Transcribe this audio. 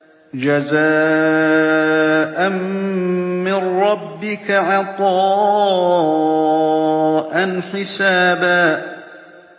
جَزَاءً مِّن رَّبِّكَ عَطَاءً حِسَابًا